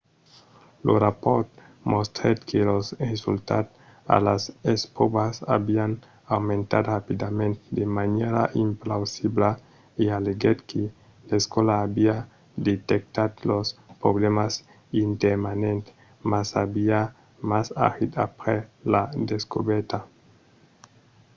lo rapòrt mostrèt que los resultats a las espròvas avián aumentat rapidament de manièra implausibla e alleguèt que l'escòla aviá detectat los problèmas intèrnament mas aviá pas agit aprèp la descobèrta